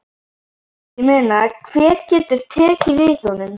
Ég meina hver getur tekið við honum?